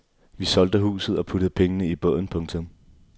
Vi solgte huset og puttede pengene i båden. punktum